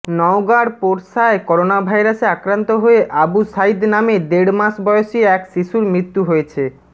নওগাঁর পোরশায় করোনাভাইরাসে আক্রান্ত হয়ে আবু সাইদ নামে দেড় মাস বয়সী এক শিশুর মৃত্যু হয়েছে